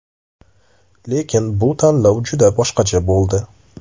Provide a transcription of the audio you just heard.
Lekin bu tanlov juda boshqacha bo‘ldi.